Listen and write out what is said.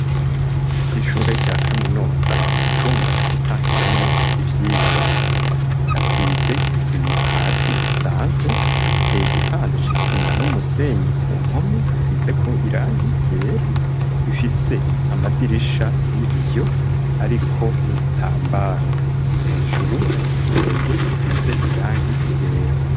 kw,ishure rya kaminuza mu cumba co gutangiramwo ivyigwa hasize isima hasi isanzwe iteye igipande c'isima n'umusenyi ku mpome hasize ko irangi yera ifise amadirisha y'ibiyo ariko n'ibitambaro hejuru hari igisenge gisize irangi yera